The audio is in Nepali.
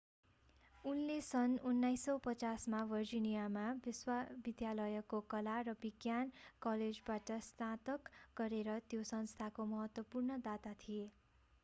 उनले सन् 1950 मा भर्जिनिया विश्वविद्यालयको कला र विज्ञान कलेजबाट स्नातक गरेर त्यो संस्थाको महत्वपूर्ण दाता थिए